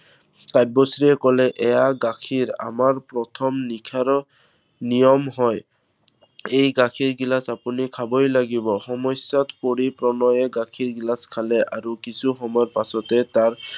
কাব্যশ্ৰীয়ে কলে এইয়া গাখীৰ। আমাৰ প্ৰথম নিশাৰ নিয়ম হয়। এই গাখীৰ গিলাচ আপুনি খাবই লাগিব। সমস্য়াত পৰি প্ৰণয়ে গাখীৰ গিলাচ খালে। আৰু কিছু সময়ৰ পাছতে তাৰ